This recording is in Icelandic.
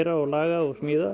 og laga og smíða